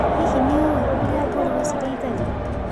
Hihi nĩũĩ ũrĩa ngũrũwe cirĩithagio.